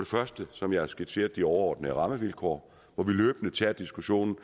første som jeg har skitseret de overordnede rammevilkår hvor vi løbende tager diskussionen